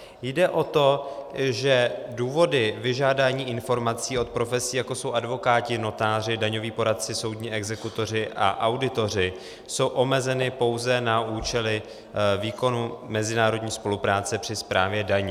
Jde o to, že důvody vyžádání informací od profesí, jako jsou advokáti, notáři, daňoví poradci, soudní exekutoři a auditoři, jsou omezeny pouze na účely výkonu mezinárodní spolupráce při správě daní.